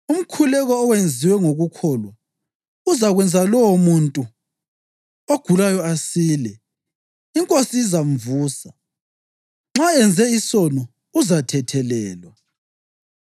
Umkhuleko owenziwe ngokukholwa uzakwenza lowomuntu ogulayo asile; iNkosi izamvusa. Nxa enze isono, uzathethelelwa.